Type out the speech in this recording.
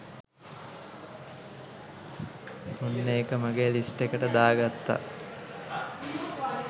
ඔන්න ඒක මගේ ලිස්ට් එකට දාගත්ත